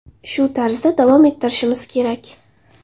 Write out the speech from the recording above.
Shu tarzda davom etishimiz kerak.